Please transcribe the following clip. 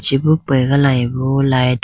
chibo pega layibo light .